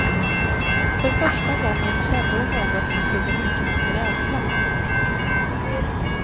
För första gången kände hon något som kunde liknas vid rädsla.